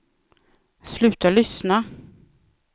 sluta lyssna